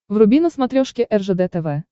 вруби на смотрешке ржд тв